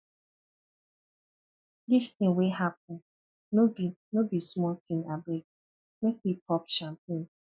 dis thing wey happen no be no be small thingabeg make we pop champagne